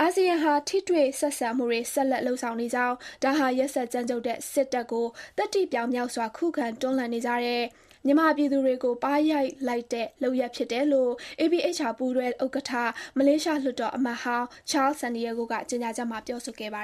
အာဆီယံဟာ ထိတွေ့ ဆက်ဆံမှုတွေ ဆက်လက် လုပ်ဆောင်နေကြောင်း၊ ဒါဟာ ရက်စက် ကြမ်းကြုတ်တဲ့ စစ်တပ်ကို သတ္တိပြောင်မြောက်စွာ ခုခံ တွန်းလှန်နေကြတဲ့ မြန်မာပြည်သူတွေကို ပါးရိုက်လိုက်တဲ့ လုပ်ရပ်ဖြစ်တယ်လို့ APHR ပူးတွဲဥက္ကဋ္ဌ၊ မလေးရှား လွှတ်တော်အမတ်ဟောင်း Charles Santiago က ကြေညာချက်မှာ ပြောဆိုခဲ့တာပါ